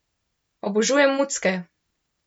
Obožujem mucke!